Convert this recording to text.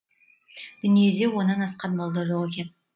дүниеде онан асқан молда жоқ екен